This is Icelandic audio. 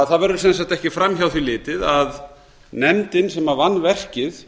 það verður sem sagt ekki fram hjá því litið að nefndin sem vann verkið